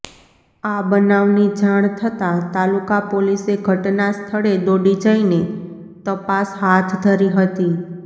આ બનાવની જાણ થતાં તાલુકા પોલીસે ઘટનાસ્થળે દોડી જઈને તપાસ હાથ ધરી હતી